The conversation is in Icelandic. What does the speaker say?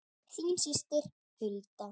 Þín systir Hulda.